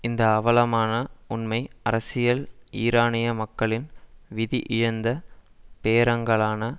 இந்த அவலமான உண்மை அரசியல் ஈரானிய மக்களின் விதி இழிந்த பேரங்களான